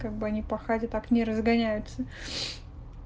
как бы они пахали так не разгоняются